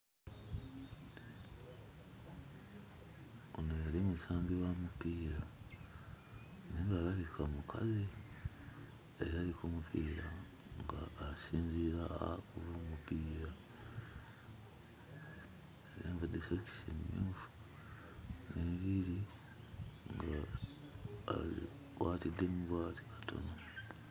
Ono yali musambi wa mupiira naye ng'alabika mukazi era ali ku mupiira ng'asinziira akube omupiira. Ayambadde sokisi emmyufu, enviiri ng'azikwatiddemu bw'ati katono.